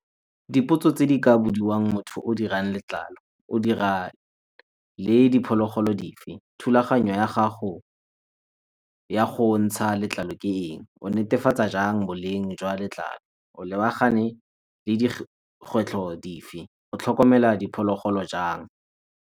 Dipotso tse di ka bodiwang motho yo o dirang letlalo, o dira le diphologolo dife? Thulaganyo ya gago ya go ntsha letlalo ke eng? O netefatsa jang boleng jwa letlalo? O lebagane le dikgwetlho dife? O tlhokomela diphologolo jang?